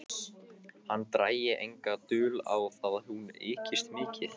Hann drægi enga dul á það: hún ykist mikið.